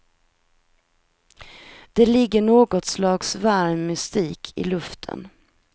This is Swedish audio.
Det ligger något slags varm mystik i luften.